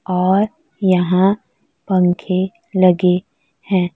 और यहां पंखे लगे हैं।